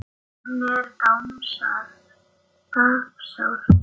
Hann er tapsár.